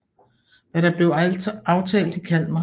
Hvad der blev aftalt i Kalmar